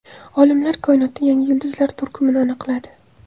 Olimlar koinotda yangi yulduzlar turkumini aniqladi.